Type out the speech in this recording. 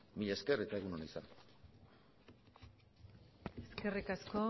mila esker eta egun ona izan eskerrik asko